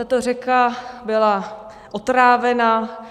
Tato řeka byla otrávena,